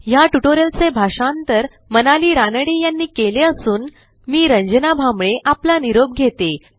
ह्या ट्युटोरियलचे भाषांतर मनाली रानडे यांनी केले असून मी रंजना भांबळे आपला निरोप घेते160